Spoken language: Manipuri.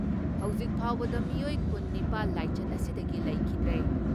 ꯍꯧꯖꯤꯛ ꯐꯥꯎꯕꯗ ꯃꯤꯑꯣꯏ ꯀꯨꯟ ꯅꯤꯄꯥꯜ ꯂꯥꯏꯆꯠ ꯑꯁꯤꯗꯒꯤ ꯂꯩꯈꯤꯗ꯭ꯔꯦ ꯫